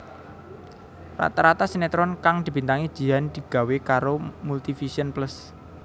Rata rata sinetron kang dibintangi Jihan digawé karo Multivision Plus